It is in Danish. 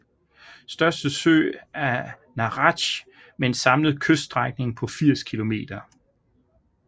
Største sø er Naratj med en samlet kyststrækning på 80 km